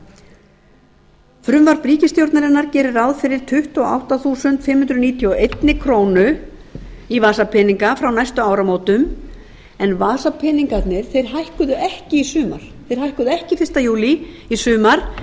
dvalarheimili frumvarp ríkisstjórnarinnar gerir ráð fyrir tuttugu og átta þúsund fimm hundruð níutíu og eina krónu í vasapeninga frá næstu áramótum en vasapeningarnir hækkuðu ekki fyrsta júlí í sumar